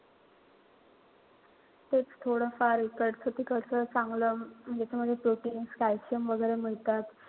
तेच थोडं फार इकडचं-तिकडचं चांगलं म्हणजे proteins calcium वगैरे मिळतात.